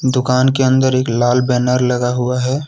दुकान के अंदर एक लाल बैनर लगा हुआ है।